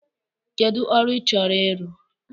Kedụ ọrụ ị chọrọ ịrụ?